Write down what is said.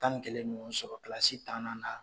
Tan ni kelen bɛ ɲɔgɔn sɔrɔ kilasi tannan na